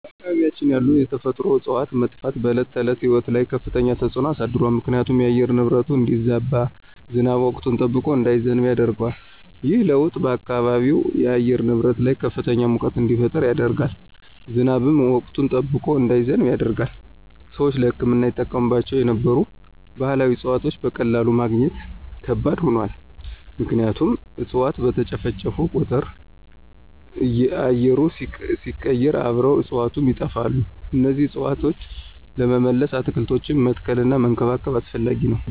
በአካባቢያችን ያሉ የተፈጥሮ እፅዋት መጥፋት በዕለት ተዕለት ሕይወት ላይ ከፍተኛ ተጽዕኖ አሳድሯል ምክንያቱም የአየር ንብረቱ እንዲዛባ፣ ዝናብ ወቅቱን ጠብቆ እንዳይዘንብ ያደርገዋል። ይህ ለውጥ በአካባቢው የአየር ንብረት ላይ ከፍተኛ ሙቀት እንዲፈጠር ያደርጋል፣ ዝናብም ወቅቱን ጠብቆ እንዳይዘንብ ያደርጋል። ሰዎች ለሕክምና ይጠቀሙባቸው የነበሩ ባህላዊ እፅዋትን በቀላሉ ማግኘት ከባድ ሆኗል ምክንያቱም እፅዋት በተጨፈጨፉ ቁጥር አየሩ ሲቀየር አብረው እፅዋቱም ይጠፋሉ እነዚህን እፅዋት ለመመለስ አትክልቶችን መትከልና መንከባከብ አስፈላጊ ነው።